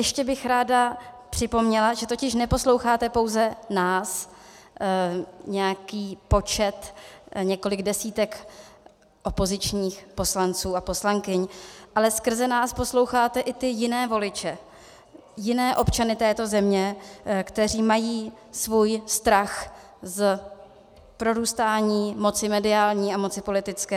Ještě bych ráda připomněla, že totiž neposloucháte pouze nás, nějaký počet, několik desítek opozičních poslanců a poslankyň, ale skrze nás posloucháte i ty jiné voliče, jiné občany této země, kteří mají svůj strach z prorůstání moci mediální a moci politické.